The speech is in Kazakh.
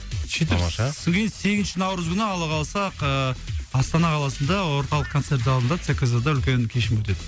сөйтіп тамаша с содан кейін сегізінші наурыз күні алла қаласақ ыыы астана қаласында орталық концерт залында цкз да үлкен кешім өтеді